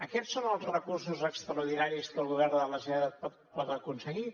aquests són els recursos extraordinaris que el govern de la generalitat pot aconseguir